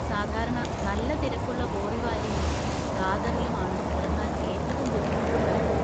സാധാരണ നല്ല തിരക്കുള്ള ബോറിവാലിയിലും ദാദറിലും ആണ് ഇറങ്ങാൻ ഏറ്റവും ബുദ്ധിമുട്ടുണ്ടാവുക.